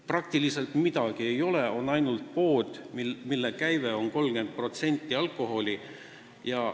Praktiliselt midagi ei ole, on ainult pood, mille käibest 30% annab alkohol.